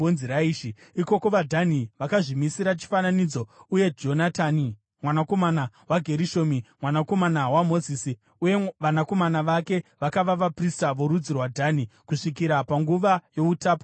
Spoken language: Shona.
Ikoko vaDhani vakazvimisira chifananidzo, uye Jonatani mwanakomana waGerishomi, mwanakomana waMozisi, uye vanakomana vake vakava vaprista vorudzi rwaDhani kusvikira panguva youtapwa hwenyika.